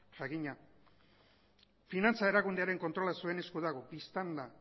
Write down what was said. jakina finantza erakundearen kontrola zuen esku dago bistan da